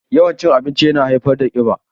Yawan cin abinci yana haifar da ƙiba.